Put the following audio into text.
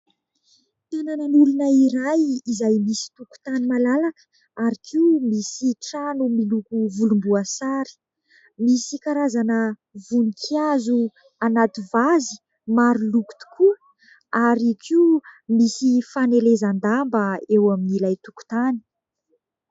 Tanàn'olona iray izay misy tokotany malalaka ary koa misy trano miloko volomboasary. Misy karazana voninkazo anaty vazy maro loko tokoa ary koa misy fanelezan-damba eo amin'ilay tokotany.